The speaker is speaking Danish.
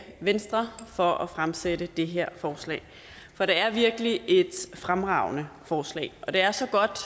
venstre for at fremsætte det her forslag for det er virkelig et fremragende forslag og det er så godt